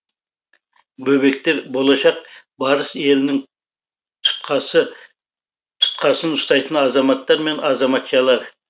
бөбектер болашақ барыс елінің тұтқасын ұстайтын азаматтар мен азаматшалар